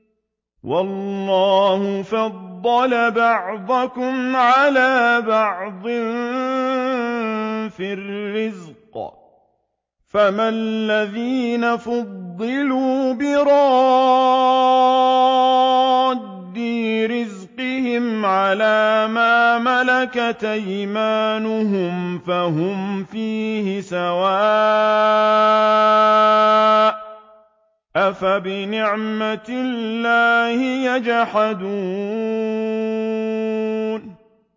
وَاللَّهُ فَضَّلَ بَعْضَكُمْ عَلَىٰ بَعْضٍ فِي الرِّزْقِ ۚ فَمَا الَّذِينَ فُضِّلُوا بِرَادِّي رِزْقِهِمْ عَلَىٰ مَا مَلَكَتْ أَيْمَانُهُمْ فَهُمْ فِيهِ سَوَاءٌ ۚ أَفَبِنِعْمَةِ اللَّهِ يَجْحَدُونَ